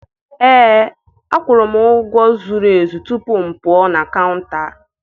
Ee, akwụrụ m ụgwọ zuru ezu tupu m pụọ na kaụnta.